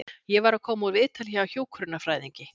Ég var að koma úr viðtali hjá hjúkrunarfræðingi.